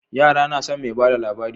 Ya nason me bada labari